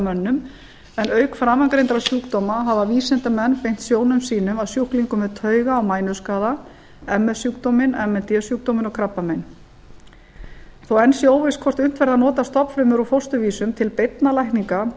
mönnum en auk framangreindra sjúkdóma hafa vísindamenn beint sjónum sínum að sjúklingum með tauga og mænuskaða ms sjúkdóminn m n d sjúkdóminn og krabbamein þó að enn sé óvíst hvort unnt verði að nota stofnfrumur úr fósturvísum til beinna lækninga